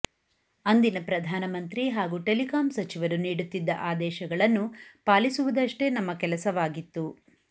ಅಂದಿನ ಪ್ರಧಾನಮಂತ್ರಿ ಹಾಗೂ ಟೆಲಿಕಾಂ ಸಚಿವರು ನೀಡುತ್ತಿದ್ದ ಆದೇಶಗಳನ್ನು ಪಾಲಿಸುವುದಷ್ಟೇ ನಮ್ಮ ಕೆಲಸವಾಗಿತ್ತು